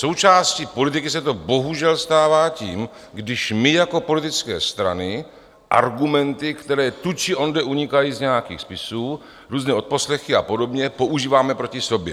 Součástí politiky se to bohužel stává tím, když my jako politické strany argumenty, které tu či onde unikají z nějakých spisů, různé odposlechy a podobně, používáme proti sobě.